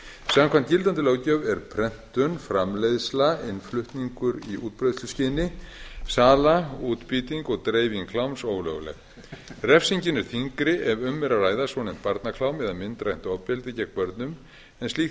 samkvæmt gildandi löggjöf er prentun framleiðsla innflutningur í útbreiðsluskyni sala útbýting og dreifing kláms ólögleg refsingin er þyngri ef um er að ræða svonefnt barnaklám eða myndrænt ofbeldi gegn börnum en slíkt